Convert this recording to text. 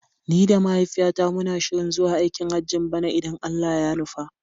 Ni da mahaifiyata muna shirin zuwa aikin Hajjin bana idan Allah ya nufa.